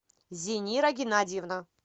зинира геннадьевна